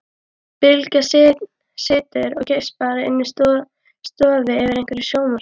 Bylgja situr og geispar inni í stofu yfir einhverju sjónvarpi.